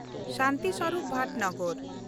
Shanti Swarup Bhatnagar